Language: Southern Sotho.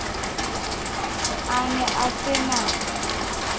a ne a se na